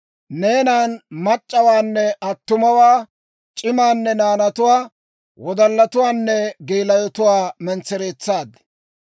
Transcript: Neenan mac'c'awaanne attumawaa, c'imaanne naanatuwaa, wodallatuwaanne geelayotuwaa mentsereetsaad.